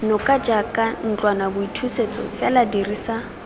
noka jaaka ntlwanaboithusetso fela dirisa